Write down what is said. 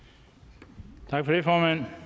herre